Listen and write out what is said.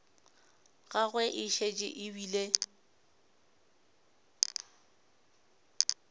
gagwe e šetše e bile